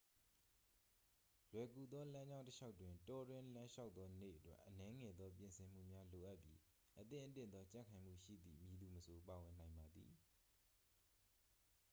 လွယ်ကူသောလမ်းကြောင်းတစ်လျှောက်တွင် တောတွင်းလမ်းလျှောက်သောနေ့အတွက် အနည်းငယ်သောပြင်ဆင်မှုများလိုအပ်ပြီး အသင့်အတင့်သောကြံ့ခိုင်မှုရှိသည့် မည်သူမဆို ပါဝင်နိုင်ပါသည်